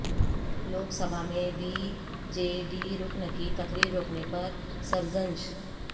لوک سبھا میںبی جے ڈی رکن کی تقریر روکنے پر سرزنش